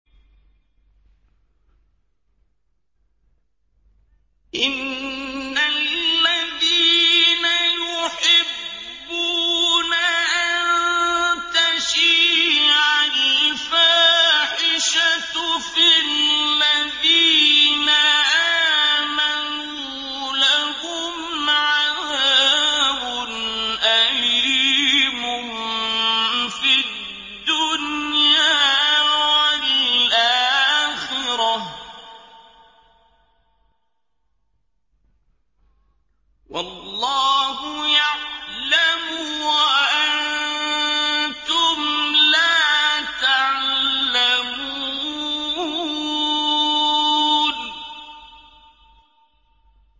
إِنَّ الَّذِينَ يُحِبُّونَ أَن تَشِيعَ الْفَاحِشَةُ فِي الَّذِينَ آمَنُوا لَهُمْ عَذَابٌ أَلِيمٌ فِي الدُّنْيَا وَالْآخِرَةِ ۚ وَاللَّهُ يَعْلَمُ وَأَنتُمْ لَا تَعْلَمُونَ